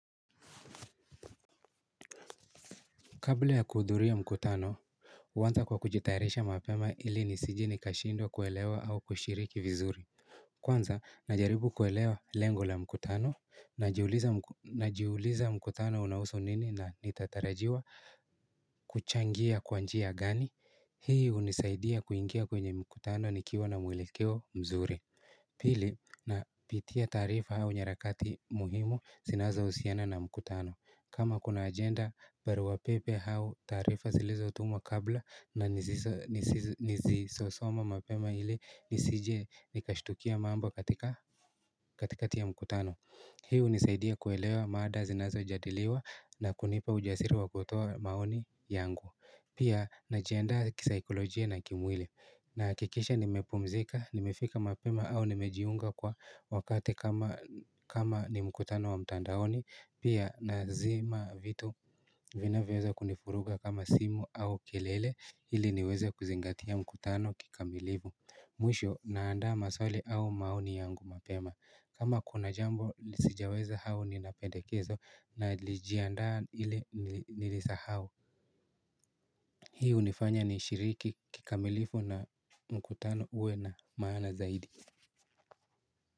Kabla ya kuhudhuria mkutano, uanza kwa kujitayaresha mapema ili nisije nikashindwo kuelewa au kushiriki vizuri. Kwanza, najaribu kuelewa lengo la mkutano, najiuliza mkutano unausu nini na nitatarajiwa kuchangia kwa njia gani. Hii unisaidia kuingia kwenye mkutano nikiwa na mwelekeo mzuri. Pili napitia taarifa au nyarakati muhimu zinazousiana na mkutano. Kama kuna agenda barua pepe hau taarifa zilizotumwa kabla na nizisosoma mapema hili nisije nikashtukia mambo katika katikati a mkutano. Hii unisaidia kuelewa maada zinazojadiliwa na kunipa ujasiri wa kutoa maoni yangu Pia najiandaa kisaikolojie na kimwili Nahakikisha nimepumzika, nimefika mapema au nimejiunga kwa wakati kama ni mkutano wa mtandaoni Pia na zima vitu vinavyoweza kunifuruga kama simu au kelele ili niweze kuzingatia mkutano kikamilivu Mwisho na andaa maswali au maoni yangu mapema kama kuna jambo lisijaweza hau nina pendekezo na lijiandaa ile nilisahao Hii unifanya nishiriki kikamilifu na mkutano uwe na maana zaidi.